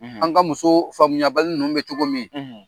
, an ka muso faamuyabali ninnu bɛ cogo min.